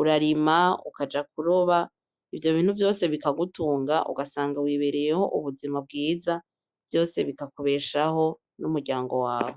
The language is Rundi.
urarima, ukaja kuroba ivyo bintu vyose bikagutunga ugasanga wibereyeho ubuzima bwiza vyose bikakubeshaho n'umuryango wawe.